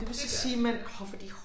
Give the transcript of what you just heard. Det gør det ja